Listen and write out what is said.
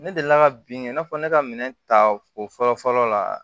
Ne delila ka bin i n'a fɔ ne ka minɛn ta o fɔlɔ fɔlɔ la